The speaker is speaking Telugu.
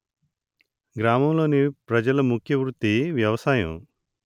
గ్రామం లోని ప్రజల ముఖ్య వృత్తి వ్యవసాయం